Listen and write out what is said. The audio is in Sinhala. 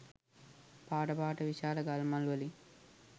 පාට පාට විශාල ගල් මල් වලින්.